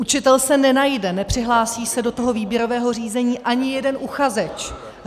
Učitel se nenajde, nepřihlásí se do toho výběrového řízení ani jeden uchazeč.